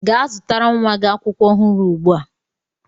Gaa zụtara nwa gị akwụkwọ ọhụrụ ugbu a!